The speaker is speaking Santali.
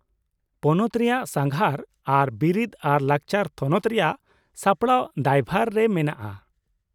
ᱯᱚᱱᱚᱛ ᱨᱮᱭᱟᱜ ᱥᱟᱸᱜᱷᱟᱨ ᱟᱨ ᱵᱤᱨᱤᱫᱽ ᱟᱨ ᱞᱟᱠᱪᱟᱨ ᱛᱷᱚᱱᱚᱛ ᱨᱮᱭᱟᱜ ᱥᱟᱯᱲᱟᱣ ᱫᱟᱭᱵᱷᱟᱨ ᱨᱮ ᱢᱮᱱᱟᱜᱼᱟ ᱾